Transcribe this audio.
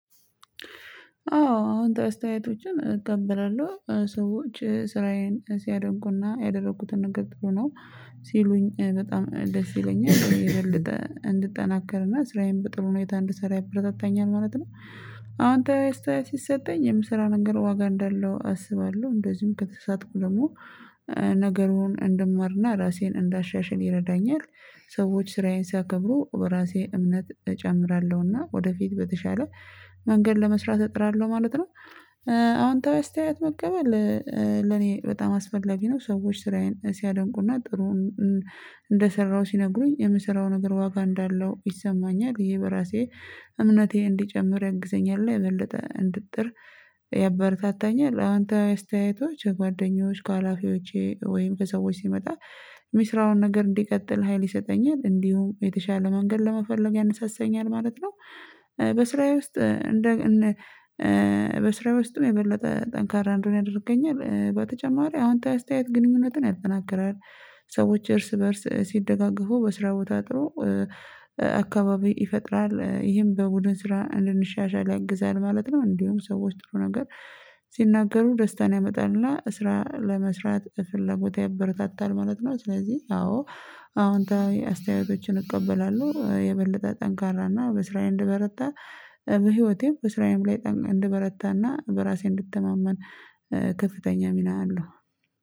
አዎ አዎንታዊ አስተያየቶችን እቀበላለሁ ሰዎች ስራዬን ሲያደንቁና ያደረኩትን ነገር ጥሩ ነው ሲሉኝ በጣም ደስ ይለኛል የበለጠ እንድጠናከርና ስራዬን በጥሩ ሁኔታ እንድሰራ ያበረታታኛል ማለት ነው። አዎንታዊ አስተያየት ሲሰጠኝ የምሰራው ነገር ዋጋ እንዳለው አስባለሁ እንደዚሁም ከተሳሳትኩ ደግሞ ነገሩን እንድማርና ራሴን እንዳሻሽል ይረዳኛል። ሰዎች ስራዬን ሲያከብሩ በራሴ እምነት እጨምራለሁና ወደፊት በተሻለ መንገድ ለመስራት እጥራለሁ ማለት ነው። አዎንታዊ አስተያየት መቀበል ለኔ በጣም አስፈላጊ ነው። ሰዎች ስራዬን ሲያደንቁና ጥሩውን እንደሰራሁ ሲነግሩኝ የምሰራው ነገር ዋጋ እንዳለው ይሰማኛል ብዬ በራሴ እምነቴ እንዲጨምር ያግዘኛል እና የበለጠ እንድጥር ያበረታታኛል። አዎንታዊ አስተያየቶች ከጓደኞች ከሀላፊዎቼ ወይም ከሰዎች ሲመጣ የሚስራውን ነገር እንዲቀጥል ሀይል ይሰጠኛል እንዲሁም የተሻለ መንገድ ለመፈለግ ያነሳሳኛል ማለት ነው። በስራዬ ውስጥ እንደግ እንደ በስራዬ ውስጥም የበለጠ ጠንካራ እንድሆን ያደርገኛል በተጨማሪ አዎንታዊ አስተያየት ግንኙነትን ያጠናክራል። ሰዎች እርስ በእርስ ሲደጋገፉ በስራው ቦታ አድሮ አካባቢ ይፈጥራል ይሄን በቡድን ስራ እንድንሻሻል ያግዛል ማለት ነው። እንዲሁ ሰዎች ጥሩ ነገር ሲናገሩ ደስታን ያመጣልና ስራ ለመስራት ፍላጎት ያበረታታል ማለት ነው። ስለዚህ አዎ አዎንታዊ አስተያየቶችን እቀበላለሁ የበለጠ ጠንካራና በስራዬ እንድበረታ በህይወቴም በስራዬም ላይ ጠን እንድበረታና በራሴ እንድተማመን ከፍተኛ ሚና አለው